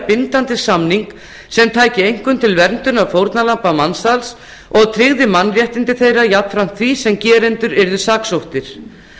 bindandi samning sem tæki einkum til verndunar fórnarlamba mansals og tryggði mannréttindi þeirra jafnframt því sem gerendur yrðu saksóttir